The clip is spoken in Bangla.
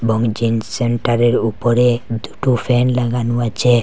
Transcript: এবং জিন সেন্টারের উপরে দুটো ফ্যান লাগানো আচে ।